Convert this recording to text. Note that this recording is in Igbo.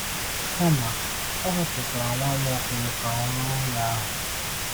Kama, Ọ họpụtara nwa Nwaokolo ka ọ rụọ ụlọ ahụ.